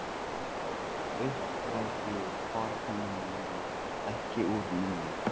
Upp frá því hvarf honum línan ekki úr munni.